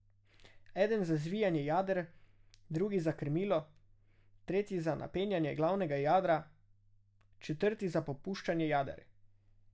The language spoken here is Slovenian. Eden za zvijanje jader, drugi za krmilo, tretji za napenjanje glavnega jadra, četrti za popuščanje jader.